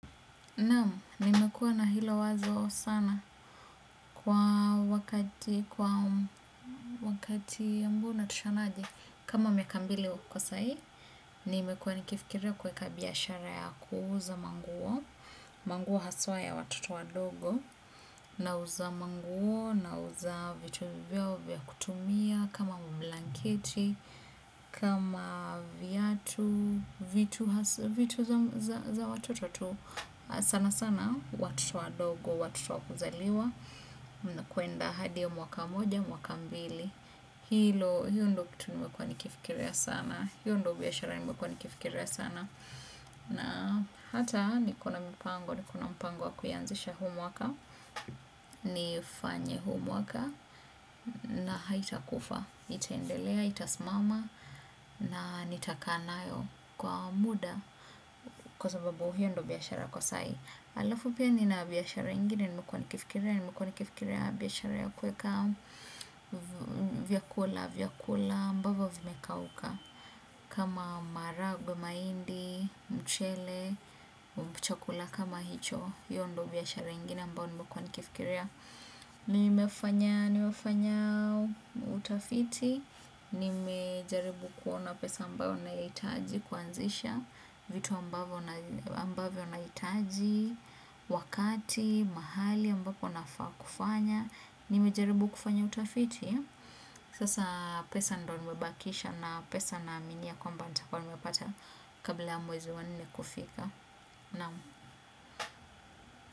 Naam, nimekuwa na hilo wazo sana kwa wakati ambao unatoshanaje. Kama miaka mbili huko sai, nimekuwa nikifikiria kuweka biashara ya kuuza manguo. Manguo haswa ya watoto wadogo. Nauza manguo, nauza vitu vyao vya kutumia. Kama blanketi kama viatu vitu za watoto tu sana sana watoto wadogo watoto wa kuzaliwa kuenda hadi ya mwaka moja mwaka mbili. Hilo hiyo ndo kitu nimekuwa nikifikiria sana. Hiyo ndo biashara nimekuwa nikifikiria sana. Na hata niko na mipango. Niko na mpango wa kuyanzisha huu mwaka. Nifanye huu mwaka. Na haitakufa. Itaendelea, itasimama. Na nitakaa nayo kwa muda kwa sababu hiyo ndio biashara kwa sai halafu pia nina biashara ingine. Nimekuwa nikifikiria. Nimekuwa nikifikiria biashara ya kuweka vyakula, vyakula ambavyo vimekauka. Kama maharagwe, mahindi mchele chakula kama hicho. Hiyo ndo biashara ingine ambayo nimekuwa nikifikiria. Nimefanya, nimefanya utafiti nimejaribu kuona pesa ambayo nahitaji kuanzisha vitu ambavyo nahitaji wakati, mahali ambapo nafaa kufanya nimejaribu kufanya utafiti sasa pesa ndo nimebakisha na pesa naaminia kwamba nitakuwa nimepata kabla ya mwezi wa nne kufika naam.